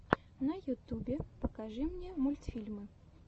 на ютубе покажи мне мультфильмы